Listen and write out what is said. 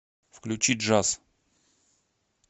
включи джаз